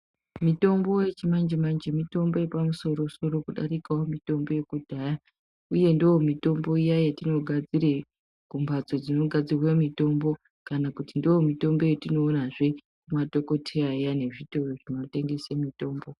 Mitombo yechimanje manje mitombo yepamusoro soro kudarikawo mitombo yekudhaya uye ndiyo mutombo iya yatinogadzire kumbatso dzinogadzirwe mitombo kana kuti ndomitombo yatinoonazve kune madhokodheya aya kana kuzvitoro zvinotengesa mitombo.